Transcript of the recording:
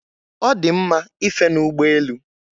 Ọ dị mma ife n'ụgbọ elu.